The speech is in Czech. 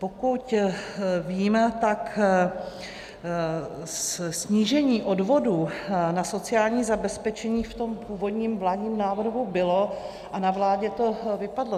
Pokud víme, tak snížení odvodů na sociální zabezpečení v tom původním vládním návrhu bylo a na vládě to vypadlo.